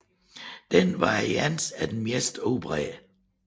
Denne variant er den mest udbredte